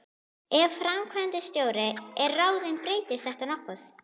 Ef framkvæmdastjóri er ráðinn breytist þetta nokkuð.